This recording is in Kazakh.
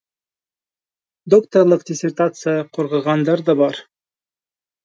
докторлық диссертация қорғағандар да бар